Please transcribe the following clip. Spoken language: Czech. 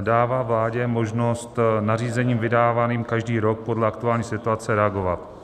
dává vládě možnost nařízením vydávaným každý rok podle aktuální situace reagovat.